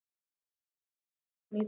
Súsanna, hvernig er dagskráin í dag?